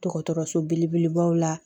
Dɔgɔtɔrɔso belebelebaw la